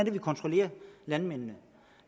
er vi kontrollerer landmændene